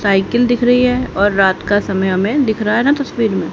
cycle दिख रही है और रात का समय हमें दिख रहा है ना तस्वीर में--